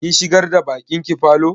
Kin shigar da baƙin ki falo?